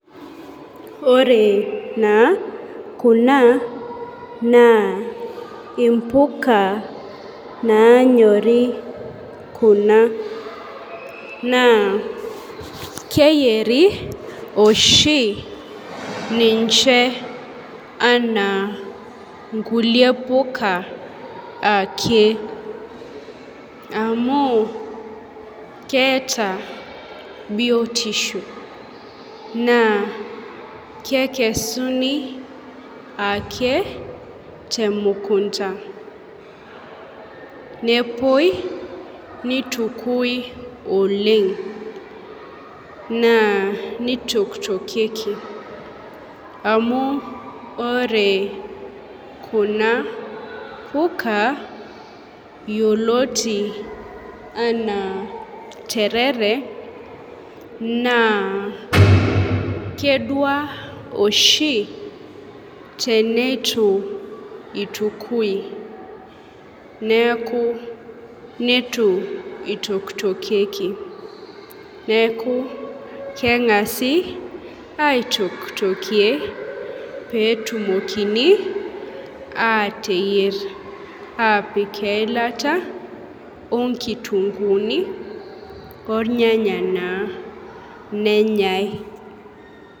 Ore naa kuna naa impuka nanyori kuna , naa keyieri ninche anaa nkulie puka ake amu keeta biotisho naa kekesuni ake temukunta nepuoi nitukui oleng naa nitoktokieki ,amu ore kuna puka yioloti anaa terere naa kedua oshi tenitu itukui neku nitokitokieki . Neku kengasi aitokitokie peitokini ayier atipik eilata, onkitunguni , ornyanya naa nenyae.